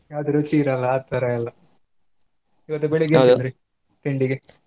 ಯಾವ್ದು ರುಚಿ ಇರಲ್ಲಾ ಆ ತರಾ ಎಲ್ಲಾ ಇವತ್ತು ಬೆಳಿಗ್ಗೆ ಎನ್ತಿಂದ್ರಿ ತಿಂಡಿಗೆ?